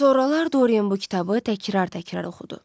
Sonralar Dorian bu kitabı təkrar-təkrar oxudu.